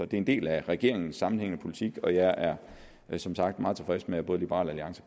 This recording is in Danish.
det er en del af regeringens sammenhængende politik og jeg er som sagt meget tilfreds med at både liberal alliance